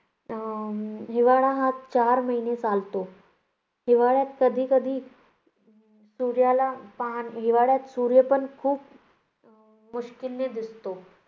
अं हिवाळा हा चार महिने चालतो. हिवाळ्यात कधीकधी सूर्याला पाहणे~ हिवाळ्यात सूर्यपण खूप मुश्कीलने दिसतो.